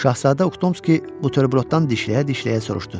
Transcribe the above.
Şahzadə Uxtomski buterbrodundan dişləyə-dişləyə soruşdu.